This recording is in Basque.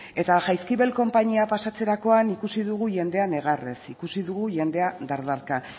eta jaizkibel konpainia pasatzerakoan ikusi dugu jendea negarrez ikusi dugu jendea dardarka